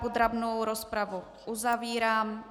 Podrobnou rozpravu uzavírám.